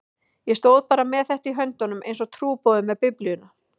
Ég stóð bara með þetta í höndunum einsog trúboði með Biblíuna.